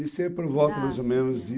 Isso é por volta, mais ou menos, de